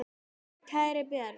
Kæri Björn.